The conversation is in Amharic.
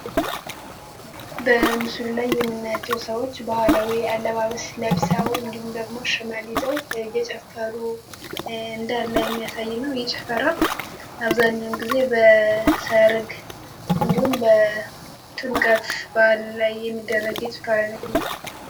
በምሱል ላይ የምናተው ሰዎች በኋላዊ አለባበ ስለብሳው እንዲሁም ደግሞ ሸመሊ ይዘው የጨፈሩ እንዳንላይ የሚያሳይነው ይጭፈራ አብዛኛውን ጊዜ በሰርግ እንዲሁም በጥንቀት ባህል ላይ የሚደረግ የጭፋራ አይነት ነው፡፡